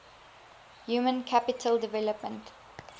human capital development